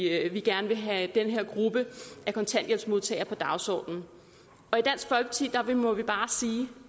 er vi gerne vil have den her gruppe af kontanthjælpsmodtagere på dagsordenen og i dansk folkeparti må vi bare sige